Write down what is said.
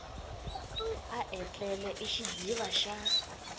a etlele i xidziva xa